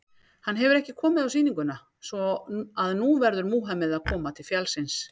Hann hefur ekki komið á sýninguna, svo að nú verður Múhameð að koma til fjallsins.